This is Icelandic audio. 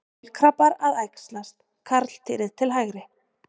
Kolkrabbar að æxlast, karldýrið til hægri.